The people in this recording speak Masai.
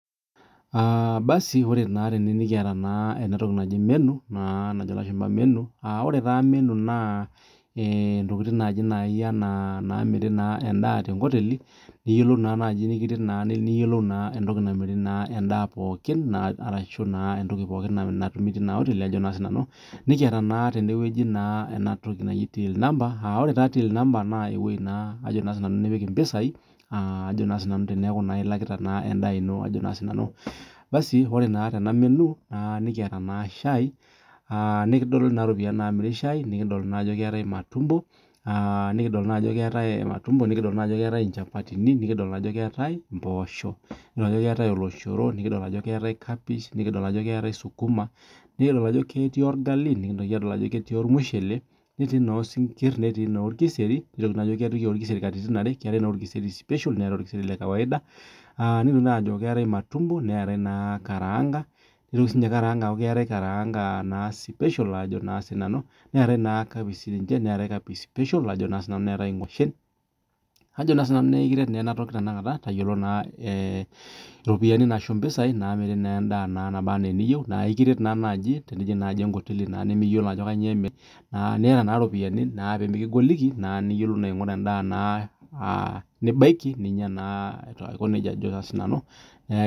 Ore naa tenewueji nikiata ena toki najo elashumba menu aa ore taa menu naa ntokitin naaji ena endaa miri tee nkoteli nikiret niyiolou entoki namiri endaa pookin teina oteli netii enewueji till number ewueji nipik mpisai teneku elakita endaa eno ore naa Tena menu nikiata naa shai nikidolita naa eropiani namiri shai nikidolita naa Ajo ketii matumbo nikidolita Ajo keetae chapatini nikidoli Ajo keetae mboshok nikidolita Ajo keetae oloshoro nikidolita Ajo keeta kapish nikidolita Ajo keetae sukuma nA ekiret enatoki tayiolo mpisai naamiri endaa nabaa ena eniyieu naa ekiret naa naaji tenijig enkoteli nimiyiolo Ajo kainyio emiri niata eropiani pee mikigoliki nidim naa aing'uraa endaa nibaikininyia Aiko nejia Ajo sinanu